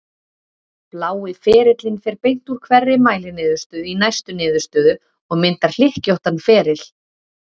Blái ferillinn fer beint úr hverri mæliniðurstöðu í næstu niðurstöðu og myndar hlykkjóttan feril.